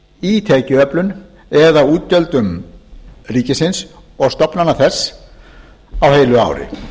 í tekjuöflun eða útgjöldum ríkisins og stofnana þess á heilu ári